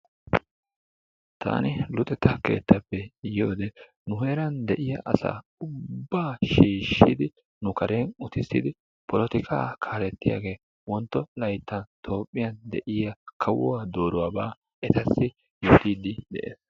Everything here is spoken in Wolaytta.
Tani luxetta keettappe yiyode nu heeran deiya asa ubba shiishidi nu karen uttisidi polotika kaaletiyage wontto laytta toophphiyaa yiya kawuwaa dooruwaba etasi yootidi de'ees.